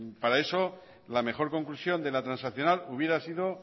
para eso la mejor conclusión de la transaccional hubiera sido